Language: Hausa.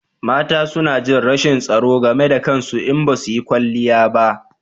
Mata suna jin rashin tsaro game da kansu in basu yi kwanliya ba